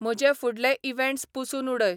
म्ह्जे फुडले इव्हेंट्स पूसून उडय